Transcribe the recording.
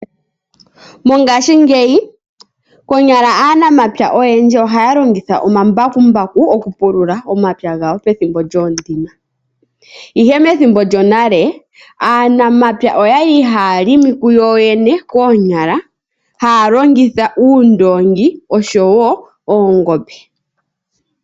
Mongashingeyi, konyala aanamapya oyendji ohaya longitha omambakumbaku okupulula omapya gawo pethimbo lyoondima. Ihe methimbo lyonale aanamapya oyali haya longo kuyoyene koonyala, haya longitha uundoongi oshowo oongombe.